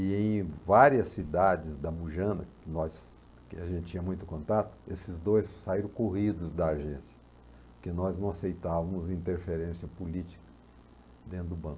E em várias cidades da Mujana, que nós que a gente tinha muito contato, esses dois saíram corridos da agência, porque nós não aceitávamos interferência política dentro do banco.